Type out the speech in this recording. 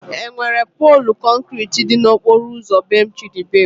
Enwere poolu kọnkriti dị n'okporo ụzọ bee Chidubem?